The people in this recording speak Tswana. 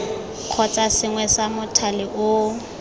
kgotsa sengwe sa mothale oo